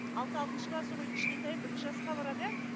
алды алтыншы класс оқиды кішкентайым бірінші класқа барады иә